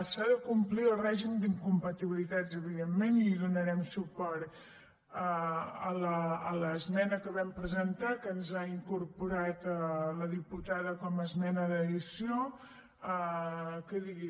s’ha de complir el règim d’incompatibilitats evidentment i donarem suport a l’esmena que vam presentar que ens ha incorporat la diputada com a esmena d’addició que digui